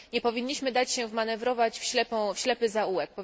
Nie powinniśmy dać się wmanewrować w ślepy zaułek.